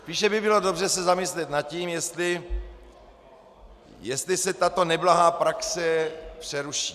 Spíše by bylo dobře se zamyslet nad tím, jestli se tato neblahá praxe přeruší.